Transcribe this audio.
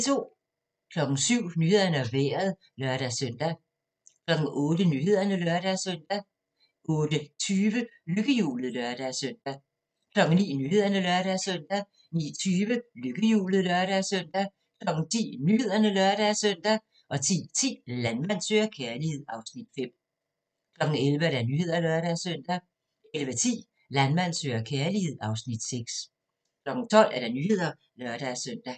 07:00: Nyhederne og Vejret (lør-søn) 08:00: Nyhederne (lør-søn) 08:20: Lykkehjulet (lør-søn) 09:00: Nyhederne (lør-søn) 09:20: Lykkehjulet (lør-søn) 10:00: Nyhederne (lør-søn) 10:10: Landmand søger kærlighed (Afs. 5) 11:00: Nyhederne (lør-søn) 11:10: Landmand søger kærlighed (Afs. 6) 12:00: Nyhederne (lør-søn)